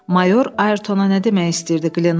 Mayor Ayertona nə demək istəyirdi?